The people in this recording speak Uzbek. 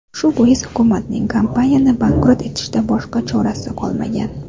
Shu bois hukumatning kompaniyani bankrot etishdan boshqa chorasi qolmagan.